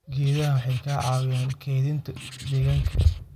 Geedaha waxay ka caawiyaan kaydinta deegaanka.